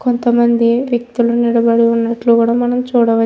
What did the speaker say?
కొంత మంది వ్యక్తులు నిలబడి ఉన్నట్లు గూడా మనము చూడవచ్ ---